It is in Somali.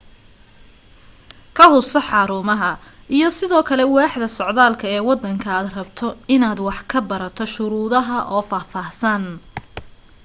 ka hubso xarumaha, iyo sidoo kale waaxda socdaalka ee wadanka aad rabto inaad wax ka barato shuruudaha oo faahfaahsan